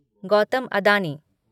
Gautam Adani